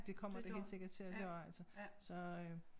Det kommer det helt sikkert til at gøre altså så øh